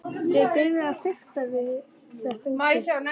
Ég byrjaði að fikta við þetta úti.